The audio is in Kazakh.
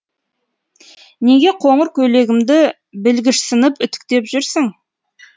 неге қоңыр көйлегімді білгішсініп үтіктеп жүрсің